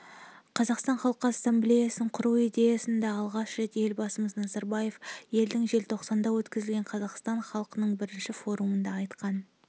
қазақстан халқы ассамблеясын құру идеясын да алғаш рет елбасымыз назарбаев жылдың желтоқсанында өткізілген қазақстан халқының бірінші форумында айтқан